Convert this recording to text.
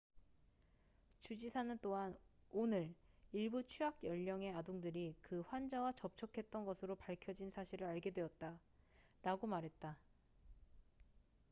"주지사는 또한 "오늘 일부 취학 연령의 아동들이 그 환자와 접촉했던 것으로 밝혀진 사실을 알게 되었다""라고 말했다.